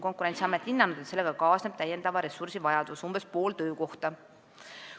Konkurentsiamet on hinnanud, et sellega kaasneb täiendava ressursi vajadus, umbes pool töökohta.